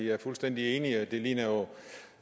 er fuldstændig enig i at det